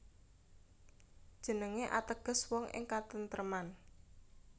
Jenengé ateges wong ing katentreman